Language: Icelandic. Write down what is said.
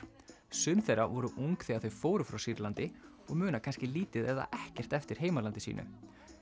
sum þeirra voru ung þegar þau fóru frá Sýrlandi og muna kannski lítið eða ekkert eftir heimalandi sínu